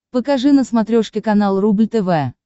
покажи на смотрешке канал рубль тв